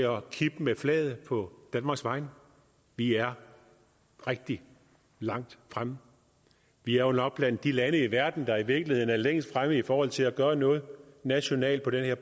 at kippe med flaget på danmarks vegne vi er rigtig langt fremme vi er jo nok blandt de lande i verden der i virkeligheden er længst fremme i forhold til at gøre noget nationalt på det her